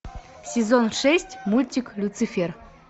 сезон шесть мультик люцифер